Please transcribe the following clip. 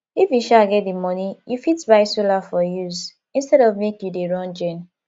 if you um get di money you fit buy solar for use instead of make you dey run gen